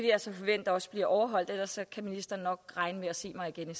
jeg så forvente også bliver overholdt ellers kan ministeren nok regne med at se mig igen